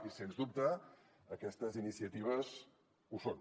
i sens dubte aquestes iniciatives ho són